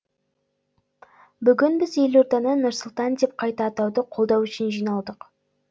бүгін біз елорданы нұр сұлтан деп қайта атауды қолдау үшін жиналдық